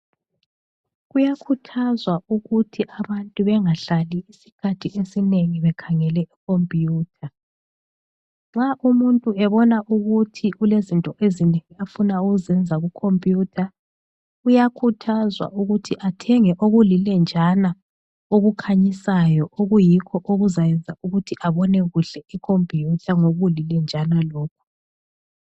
Kuyakhuthazwa ukuthi abantu bengahlali isikhathi esinengi bekhangele ikhompiyutha. Nxa umuntu ebona ukuthi kulezinto ezinengi afuna ukuzenza kukhompiyutha uyakhuthazwa ukuthi athenge okulilenjana okukhanyisayo okuyikho okuzayenza ukuthi abone kuhle ikhompiyutha ngokulilenjana lokhu.